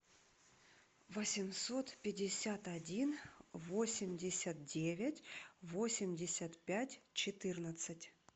восемьсот пятьдесят один восемьдесят девять восемьдесят пять четырнадцать